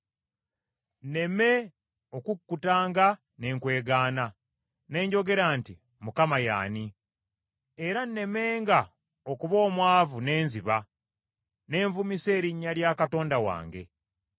Nneme okukkutanga ne nkwegaana ne njogera nti, “ Mukama ye y’ani?” Era nnemenga okuba omwavu ne nziba, ne nvumisa erinnya lya Katonda wange.